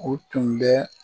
O tun bɛ